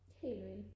helt vildt